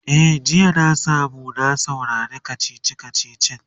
e jiya na samu na saurari kachichi kachichin